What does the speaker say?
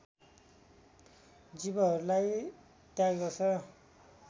जीवहरूलाई त्याग्दछ